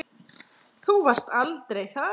Þú varst aldrei þar.